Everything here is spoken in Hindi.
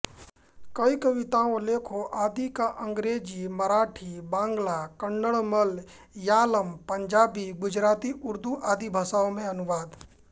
कई कविताओं लेखों आदि का अंग्रेज़ी मराठीबांग्लाकन्नड़मलयालमपंजाबीगुजराती उर्दू आदि भाषाओं में अनुवाद